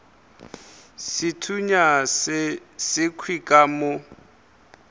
sethunya se sekhwi ka mo